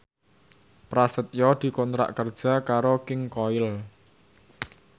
Prasetyo dikontrak kerja karo King Koil